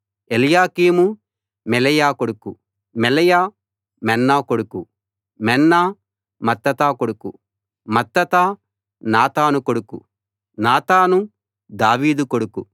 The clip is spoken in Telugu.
ఎల్యాకీము మెలెయా కొడుకు మెలెయా మెన్నా కొడుకు మెన్నా మత్తతా కొడుకు మత్తతా నాతాను కొడుకు నాతాను దావీదు కొడుకు